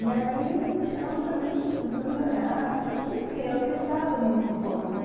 E aí o bichão também começou a melhorar, assim, porque, enfim, eu acreditava nisso um pouco, né?